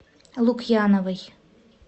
лукьяновой